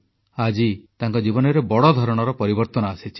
ଆଜି ତାଙ୍କ ଜୀବନରେ ବଡ଼ ଧରଣର ପରିବର୍ତ୍ତନ ଆସିଛି